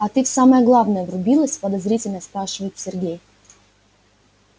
а ты в самое главное врубилась подозрительно спрашивает сергей